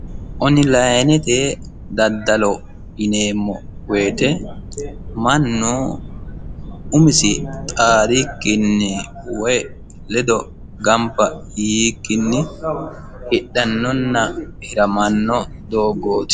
Onlinete daddalo yineemmo woyiite mannu umisinni xaadikkini woyi gamba yiikkinni hidhannona hiramanno doogoti.